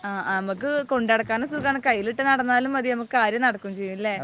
ആ. നമുക്ക് കൊണ്ടുനടക്കാനും സുഖമാണ്. കയ്യിലിട്ടു നടന്നാലും മതി, നമുക്ക് കാര്യം നടക്കുകയും ചെയ്യും അല്ലേ?